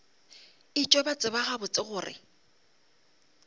etšwe ba tseba gabotse gore